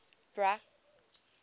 bra